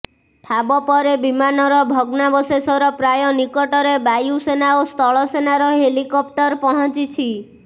ଠାବ ପରେ ବିମାନର ଭଗ୍ନାବଶେଷର ପ୍ରାୟ ନିକଟରେ ବାୟୁସେନା ଓ ସ୍ଥଳସେନାର ହେଲିକପ୍ଟର ପହଞ୍ଚିଛି